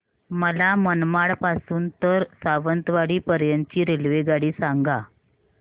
मला मनमाड पासून तर सावंतवाडी पर्यंत ची रेल्वेगाडी सांगा